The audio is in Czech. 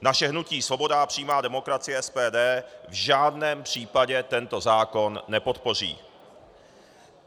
Naše hnutí Svoboda a přímá demokracie, SPD, v žádném případě tento zákon nepodpoří.